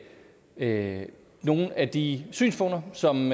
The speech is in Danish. at nogle af de synspunkter som